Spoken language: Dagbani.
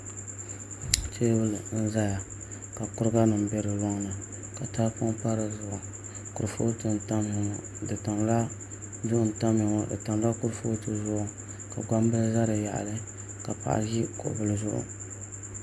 Teebuli n ʒɛya ka koba nim bɛ di loŋni ka tahapoŋ pa dizuɣu kurifooti n tamya ŋo duɣu n tamya ŋo di tamla kurifooti zuɣu ka gbambili ʒɛ di yaɣali ka paɣa ʒi kuɣu bili zuɣu